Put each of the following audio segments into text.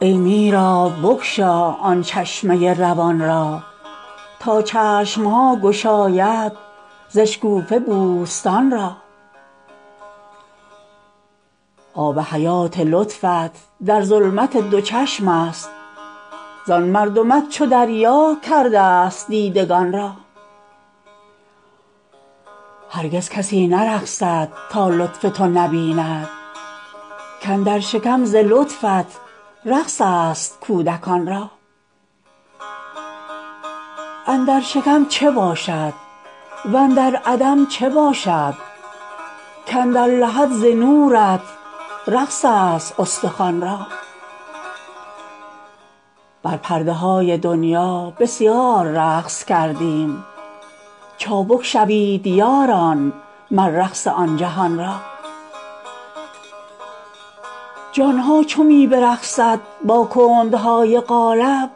ای میرآب بگشا آن چشمه روان را تا چشم ها گشاید ز اشکوفه بوستان را آب حیات لطفت در ظلمت دو چشم است زان مردمک چو دریا کردست دیدگان را هرگز کسی نرقصد تا لطف تو نبیند کاندر شکم ز لطفت رقص است کودکان را اندر شکم چه باشد و اندر عدم چه باشد کاندر لحد ز نورت رقص است استخوان را بر پرده های دنیا بسیار رقص کردیم چابک شوید یاران مر رقص آن جهان را جان ها چو می برقصد با کندهای قالب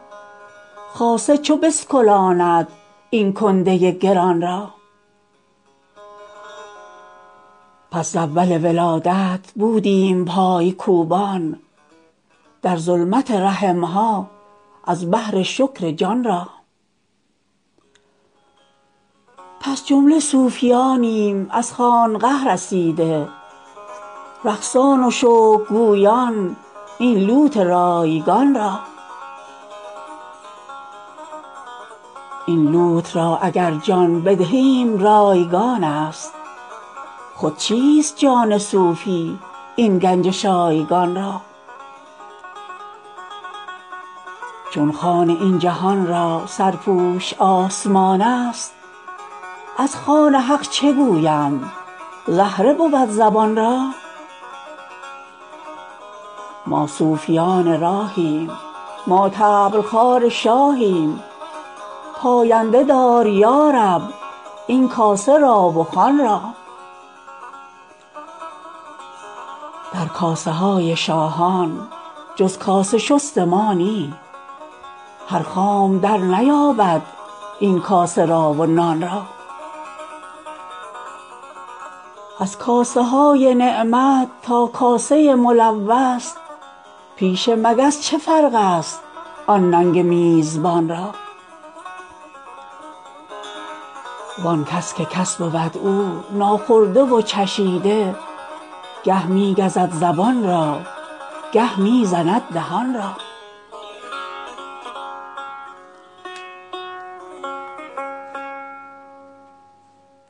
خاصه چو بسکلاند این کنده گران را پس ز اول ولادت بودیم پای کوبان در ظلمت رحم ها از بهر شکر جان را پس جمله صوفیانیم از خانقه رسیده رقصان و شکرگویان این لوت رایگان را این لوت را اگر جان بدهیم رایگانست خود چیست جان صوفی این گنج شایگان را چون خوان این جهان را سرپوش آسمانست از خوان حق چه گویم زهره بود زبان را ما صوفیان راهیم ما طبل خوار شاهیم پاینده دار یا رب این کاسه را و خوان را در کاسه های شاهان جز کاسه شست ما نی هر خام درنیابد این کاسه را و نان را از کاسه های نعمت تا کاسه ملوث پیش مگس چه فرق است آن ننگ میزبان را وان کس که کس بود او ناخورده و چشیده گه می گزد زبان را گه می زند دهان را